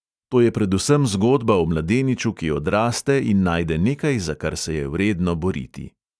To je predvsem zgodba o mladeniču, ki odraste in najde nekaj, za kar se je vredno boriti.